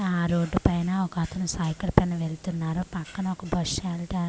ఆ రోడ్డుపైన ఒకతను సైకిల్ పైన వెళ్తున్నారు పక్కన ఒక బస్ యెల్త --